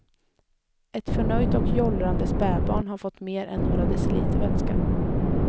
Ett förnöjt och jollrande spädbarn har fått mer än några deciliter vätska.